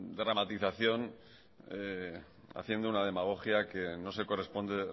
dramatización haciendo una demagogia que no se corresponde